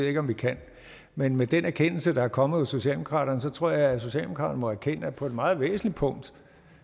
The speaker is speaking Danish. ikke om vi kan men med den erkendelse der er kommet hos socialdemokraterne tror jeg at socialdemokraterne må erkende at på et meget væsentligt punkt